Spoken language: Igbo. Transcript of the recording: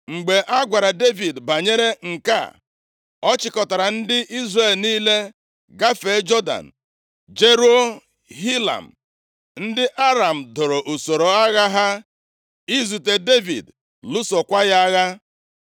Mgbe a gwara Devid banyere nke a, ọ chịkọtara ndị Izrel niile, gafee Jọdan, jeruo Hilam. Ndị Aram doro usoro agha ha izute Devid, lụsokwaa ya agha.